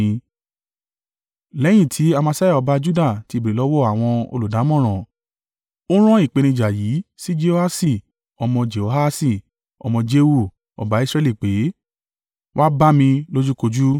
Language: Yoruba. Lẹ́yìn tí Amasiah ọba Juda ti béèrè lọ́wọ́ àwọn olùdámọ̀ràn, ó rán ìpèníjà yìí sí Jehoaṣi ọmọ Jehoahasi ọmọ Jehu, ọba Israẹli pé, “Wá bá mi lójúkojú.”